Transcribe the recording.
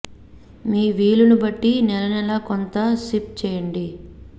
మీ వీలు ని బట్టి నెల నెలా కొంత సిప్ చేయండి